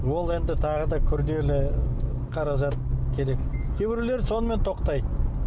ол енді тағы да күрделі қаражат керек кейбіреулері сонымен тоқтайды